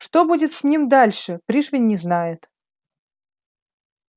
что будет с ним дальше пришвин не знает